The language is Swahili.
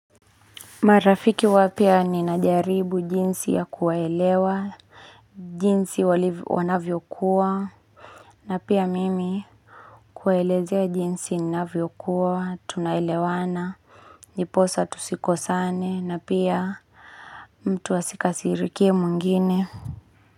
Marafiki wapya ninajaribu jinsi ya kuwaelewa, jinsi waliv wanavyo kuwa, na pia mimi kuwaelezea jinsi inavyo kuwa, tunaelewana, niposa tusiko sane, na pia mtu asika sirikie mwingine.